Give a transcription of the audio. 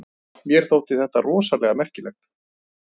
Mér þótti þetta rosalega merkilegt.